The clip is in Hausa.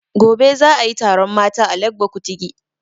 Gobe za a yi taron mata a Legbo Kutigi